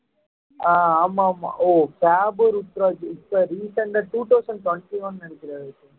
ஆமா ஆமா ஓ இப்ப recent ஆ two thousand twenty one ன்னு நினைக்கிறாரு